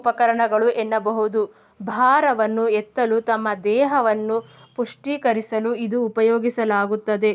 ಉಪಕರಣಗಳು ಎನ್ನಬಹುದು ಭಾರವನ್ನು ಎತ್ತಲೂ ತಮ್ಮ ದೇಹವನ್ನು ಪುಸ್ಟ್ಟೀಕರಿಸಲು ಇದು ಉಪಯುಕ್ತವಾಗಿದೆ.